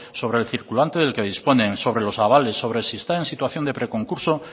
sobre el circulante del que dispone sobre los avales sobre si está en situación de preconcurso